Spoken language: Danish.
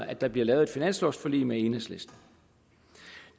at der bliver lavet et finanslovforlig med enhedslisten